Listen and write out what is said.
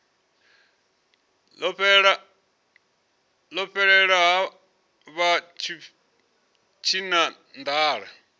ḽo fhelela ha vha tshinanḓala